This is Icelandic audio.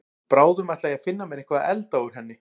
Bráðum ætla ég að finna mér eitthvað að elda úr henni.